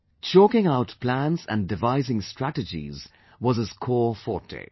Chalking out plans and devising strategies was his core forte'